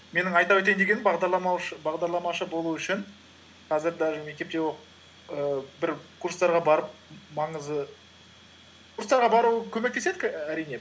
менің айта өтейін дегенім бағдарламаушы болу үшін қазір даже мектепте оқып ііі бір курстарға барып маңызы курстарға бару көмектеседі әрине